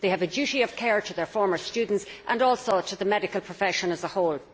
They have a duty of care to their former students and also to the medical profession as a whole.